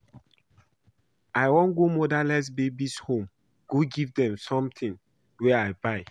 I wan go motherless babies' home go give dem some things wey I buy